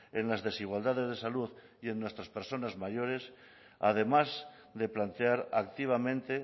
en las desigualdades de salud y en nuestras personas mayores además de plantear activamente